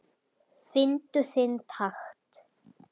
Fyndu þinn takt